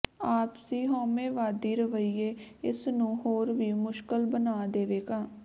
ਆਪਸੀ ਹਉਮੈਵਾਦੀ ਰਵੱਈਏ ਇਸ ਨੂੰ ਹੋਰ ਵੀ ਮੁਸ਼ਕਲ ਬਣਾ ਦੇਵੇਗਾ